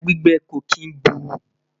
ẹja gbígbẹ kò kín bù